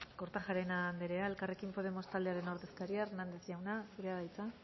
kortajarena anderea elkarrekin podemos taldearen ordezkaria hernández jauna zurea da hitza